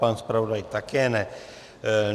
Pan zpravodaj také ne.